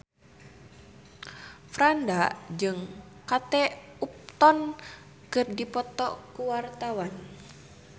Franda jeung Kate Upton keur dipoto ku wartawan